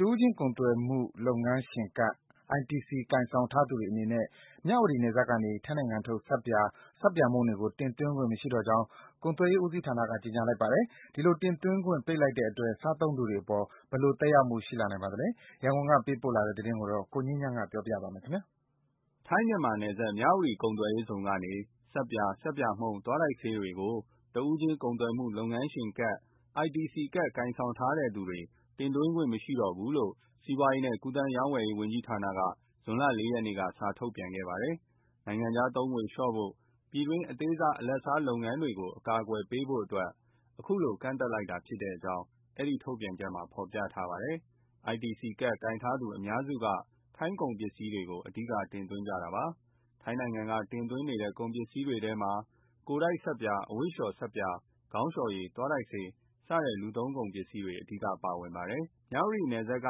တဦးချင်းကုန်သွယ်မှု လုပ်ငန်းရှင်ကတ် ITC ကိုင်ဆောင်ထားသူတွေအနေနဲ့ မြဝတီနယ်စပ်ကနေ ထိုင်းနိုင်ငံထုတ် ဆပ်ပြာ၊ ဆပ်ပြာမှုန့်တွေကို သွင်းခွင့်မရှိတော့ကြောင်း ကုန်သွယ်ရေးဦးစီးဌာနက ကြေညာလိုက်ပါတယ်။ ဒီလိုတင်သွင်းခွင့် ပိတ်လိုက်တဲ့အတွက် စားသုံးသူတွေအပေါ် ဘယ်လို သက်ရောက်မှု ရှိနိုင်ပါသလဲ။ ရန်ကုန်ကပေးပို့လာတဲ့ သတင်းကို ကိုငြိမ်းချမ်းက ပြောပြပေးမှာပါ။ ထိုင်း- မြန်မာနယ်စပ် မြဝတီ ကုန်သွယ်ရေးဇုန်ကနေ ဆပ်ပြာ၊ ဆပ်ပြာမှုန့်၊ သွားတိုက်ဆေးတွေကို တဦးချင်းကုန်သွယ်မှု လုပ်ငန်းရှင်ကတ် ITC ကတ်ကိုင်ထားသူတွေ တင်သွင်းခွင့် မရှိတော့ဘူးလို့ စီးပွားရေးနဲ့ ကူးသန်းရောင်းဝယ်ရေးဝန်ကြီးဌာနက ဇွန်လ ၄ ရက်နေ့က စာထုတ်ပြန်ခဲ့ပါတယ်။ နိုင်ငံခြားသုံးငွေလျှော့ချဖို့၊ ပြည်တွင်းက အသေးစား၊ အလတ်စား လုပ်ငန်းတွေကို အကာအကွယ်ပေးဖို့အတွက် အခုလို ကန့်သတ်လိုက်တာ ဖြစ်ကြောင်း အဲဒီထုတ်ပြန်ချက်မှာ ရေးထားပါတယ်။ ITC ကတ် ကိုင်ထားသူူ အများစုက ထိုင်းကုန်ပစ္စည်းတွေကို အဓိက တင်သွင်းကြတာပါ။ ထိုင်းနိုင်ငံကနေ တင်သွင်းနေတဲ့ ကုန်ပစ္စည်းတွေထဲမှာ ကိုယ်တိုက်ဆပ်ပြာ၊ အဝတ်လေ ျှာ်ဆပ်ပြာ၊ ခေါင်းလေ ျှာ်ရည်၊ သွားတိုက်ဆေး စတဲ့လူသုံးကုန်ပစ္စည်းတွေ အဓိကပါဝင်ပါတယ်။ မြဝတီနယ်စပ်က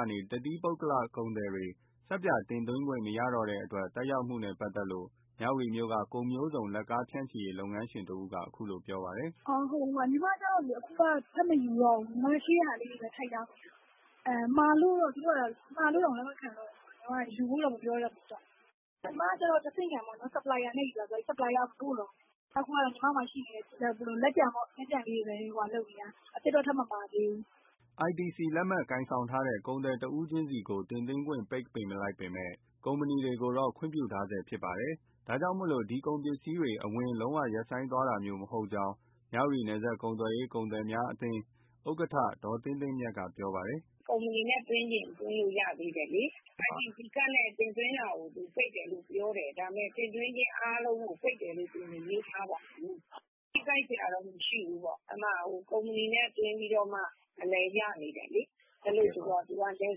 နေ တသီးပုဂ္ဂလ ကုန်သည်တွေ ဆပ်ပြာသွင်းခွင့် မရတော့တဲ့အတွက် သက်ရောက်မှုနဲ့ပါတ်သက်လို့ မြဝတီမြို့က ကုန်မျိုးစုံလက်ကားဖြန့်ချီရေး လုပ်ငန်းရှင်တဦးက ခုလိုပြောပြပါတယ်။ “ ညီမကျတော့ ထပ်မယူတော့ဘူး၊ ရှိတာလေးနဲ့ ထိန်းရောင်းတယ်။ မှာဖို့တောင် လက်မခံတော့ဘူးဆိုတော့ ယူဖို့တော့ မပြောနဲ့တော့။ ကျမက တဆင့်ခံပေါ့ supplier ကနေယူတာဆိုတော့ supplier က မပို့တော့ဘူး။ ညီမမှာရှိတဲ့ လက်ကျန်လေးတွေပဲ၊ အသစ်တော့ ထပ်မမှာသေးဘူး။” ITC လက်မှတ်ကိုင်ထားတဲ့ ကုန်သည်တယောက်ချင်းသွင်းခွင့် ပိတ်လိုက်ပေမဲ့ ကုမ္ပဏီတွေကိုတော့ ခွင့်ပြုထားဆဲဖြစ်လို့ ဒီကုန်ပစ္စည်းတွေ အဝင် လုံးဝရပ်ဆိုင်းသွားမှာမျိုး မဟုတ်ကြောင်းမြဝတီ နယ်စပ်ကုန်သွယ်ရေး ကုန်သည်များအသင်း ဥက္ကဋ္ဌ ဒေါ်သင်းသင်းမြတ်က ပြောပါတယ်။ “ ထိခိုက်စရာတော့ မရှိဘူးပေါ့၊ ကုမ္ပဏီနဲ့ သွင်းပြီးတော့မှ အဝင်ရသေးတယ်လေ။ အဲဒီတော့ သူက နယ်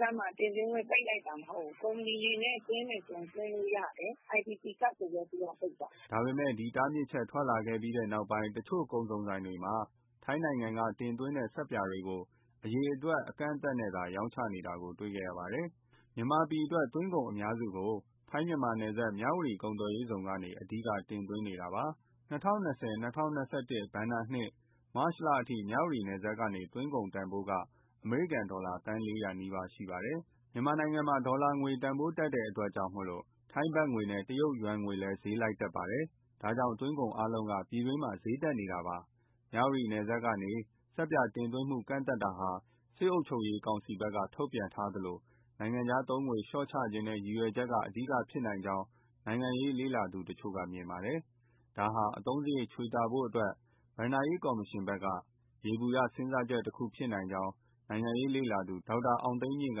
စပ်မှာ တင်သွင်းခွင့် ရပ်လိုက်တာ မဟုတ်ဘူး၊ ကုမ္ပဏီနဲ့သွင်းချင် သွင်းလို့ရတယ် ITC ကတ်ကိုပဲ သူတို့ကပိတ်တာ။” ဒါပေမဲ့ ဒီတားမြစ်ချက် ထွက်လာခဲ့ပြီးနောက် တချို့ ကုန်စုံဆိုင်တွေမှာ ထိုင်းနိုင်ငံက တင်သွင်းတဲ့ ဆပ်ပြာတွေကို အရေအတွက် အကန့်အသတ်နဲ့သာ ရောင်းနေတာတေ့ွရပါတယ်။ မြန်မာပြည်အတွက် သွင်းကုန်အများစုကို ထိုင်း- မြန်မာနယ်စပ် မြဝတီကုန်သွယ်ရေးဇုန်ကနေ အဓိက တင်သွင်းနေတာပါ။ ၂၀၂၀-၂၀၂၁ ဘဏ္ဍာနှစ် (မတ်လထိ) မြဝတီနယ်စပ်ကနေ သွင်းကုန်တန်ဖိုးက အမေရိကန်ဒေါ်လာ သန်း ၄၀၀ နီးပါးရှိပါတယ်။ မြန်မာနိုင်ငံမှာ ဒေါ်လာငွေတန်ဖိုး တက်လို့ ထိုင်းဘတ်ငွေနဲ့ တရုတ်ယွမ်ငွေလည်း ဈေးလိုက်တက်ပါတယ်။ ဒါကြောင့် သွင်းကုန်အားလုံးက ပြည်တွင်းမှာ ဈေးတက်နေတာပါ။ မြဝတီနယ်စပ်ကနေ ဆပ်ပြာတင်သွင်းမှု ကန့်သတ်တာဟာ စစ်အုပ်ချုပ်ရေးကောင်စီဘက်က ထုတ်ပြန်ထားသလို နိုင်ငံခြားသုံးငွေ လျှော့ချချင်တဲ့ ရည်ရွယ်ချက်က အဓိကဖြစ်နိုင်ကြောင်း နိုင်ငံရေးလေ့လာသူတချို့က မြင်ပါတယ်။ ဒါဟာ အသုံးစရိတ် ချွေတာဖို့အတွက် ဘဏ္ဍာရေးကော်မရှင်ဘက်က ယေဘုယ စဉ်းစားချက်တခု ဖြစ်နိုင်ကြောင်း နိုင်ငံရေးလေ့လာသူ ဒေါက်တာအောင်သိန်းမြင့်က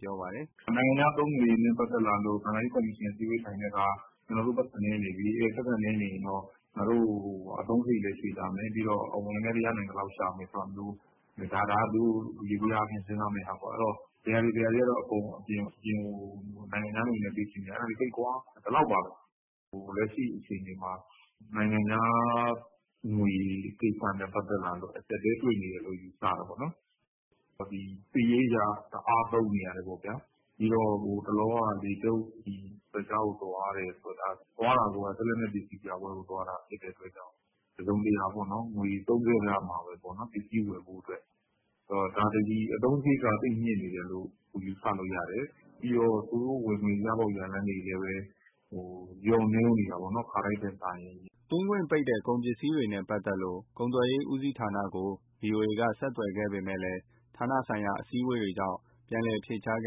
ပြောပါတယ်။ “ဆိုတော့ ဘယ်ဟာတွေကတော့ အပြင်ကို နိုင်ငံခြားငွေနဲ့ပေးဝယ်ရလဲ အဲဒါတွေပိတ်ကွာ ဒီလောက်ပါပဲ။ လက်ရှိမှာ နိုင်ငံခြားငွေကိစ္စနဲ့ ပတ်သက်လာလို့ အကျပ်အတည်း တွေ့နေရတယ်လို့ ယူဆရတယ်ပေါ့နော်။ စစ်ရေးအရ တအားသုံးနေရတယ်ပေါ့ဗျာ။ ဟိုတလောက လေတပ်ကာချုပ် ရုရှားကို သွားတယ်ဆိုတာ စစ်လက်နက်ပစ္စည်းပြပွဲကို သွားတာဖြစ်လို့ တစုံတရာ ငွေသုံးစွဲခဲ့ရမှာပဲပေါ့နော် ပစ္စည်းဝယ်ဖို့၊ ဒါသည် အသုံးစရိတ်က သိပ်မြင့်နေတယ်လို့ ယူဆလို့ရတယ်။ ပြီးတော့ သူတို့ဝင်ငွေ ရပေါက်ရလမ်းတွေလည်း လျော့နည်းနေတာပေါ့နော် ခါတိုင်းထက်စာရင်။” သွင်းခွင့်ပိတ်တဲ့ ကုန်ပစ္စည်းတွေနဲ့ပတ်သက်လို့ ကုန်သွယ်ရေးဦးစီးဌာနက ဗွီအိုအေက ဆက်သွယ်ခဲ့ပေမဲ့ ဌာနဆိုင်ရာ အစည်းအဝေးတွေကြောင့် ပြန်လည် ဖြေကြားခြ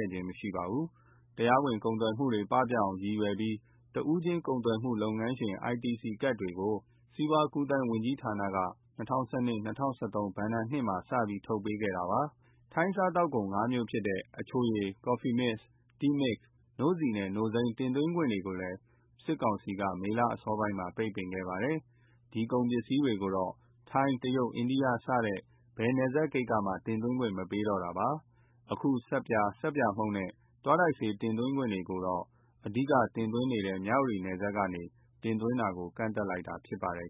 င်း မရှိခဲ့ပါဘူး။ တရားမဝင်ကုန်သွယ်မှုတွေ ပပျောက်အောင်ရည်ရွယ်ပြီး တဦးချင်းကုန်သွယ်မှု လုပ်ငန်းရှင် ITC ကတ်တွေကို စီးပွားကူးသန်းဝန်ကြီးဌာနက ၂၀၁၂- ၂၀၁၃ ဘဏ္ဍာနှစ်မှာ စထုတ်ပေးခဲ့တာပါ။ ထိုင်းစားသောက်ကုန် ၅ မျိုးဖြစ်တဲ့ အချိုရည်၊ ကော်ဖီမစ်၊ တီးမစ်၊ နို့ဆီနဲ့ နို့စိမ်း တင်သွင်းခွင့်ကိုလည်း စစ်ကောင်စီက မေလအစောပိုင်းမှာ ပိတ်ပင်ခဲ့ပါတယ်။ ဒီကုန်ပစ္စည်းတွေကိုတော့ ထိုင်း၊ တရုတ်၊ အိန္ဒိယ စတဲ့ ဘယ်နယ်စပ်ဂိတ်ကမှ တင်သွင်းခွင့် မပေးတော့တာပါ။ အခု ဆပ်ပြာ၊ ဆပ်ပြာမှုန့်နဲ့ သွားတိုက်ဆေး တင်သွင်းခွင့်ကိုတော့ အဓိကတင်သွင်းနေတဲ့ မြဝတီနယ်စပ်ကနေ တင်သွင်းတာကို ကန့်သတ်လိုက်တာဖြစ်ပါတယ်